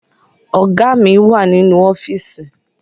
Ọ̀gá mi wà nínú ọ́fíìsì